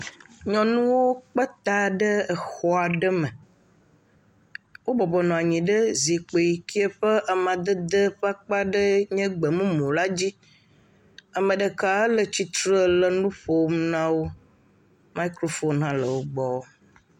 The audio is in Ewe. Nyɔnuwo kpe ta ɖe exɔ aɖe me. Wo bɔbɔnɔ anyi ɖe zikpui yi ke ƒe amadede ƒe akpa aɖee nye gbemumu la dzi. Ame ɖeka le tsitre le nu ƒom na wo. Mikrofon hã le wo gbɔ.